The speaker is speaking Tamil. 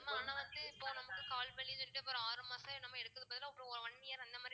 கால் வலி ஆறு மாசம் என்னமோ எடுத்துக்கு பதிலா ஒரு one year அந்த மாதிரி